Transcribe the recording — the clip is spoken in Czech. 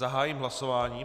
Zahájím hlasování.